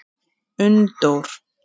Unndór